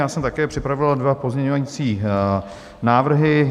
Já jsem také připravil dva pozměňovací návrhy.